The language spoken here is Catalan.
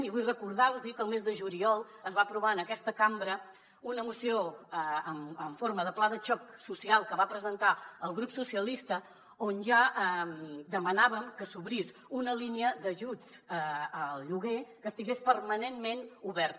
i vull recordar los que el mes de juliol es va aprovar en aquesta cambra una moció en forma de pla de xoc social que va presentar el grup socialistes on ja demanàvem que s’obrís una línia d’ajuts al lloguer que estigués permanentment oberta